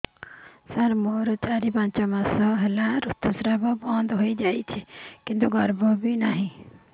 ସାର ମୋର ଚାରି ପାଞ୍ଚ ମାସ ହେଲା ଋତୁସ୍ରାବ ବନ୍ଦ ହେଇଯାଇଛି କିନ୍ତୁ ଗର୍ଭ ବି ନାହିଁ